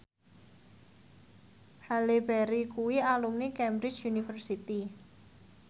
Halle Berry kuwi alumni Cambridge University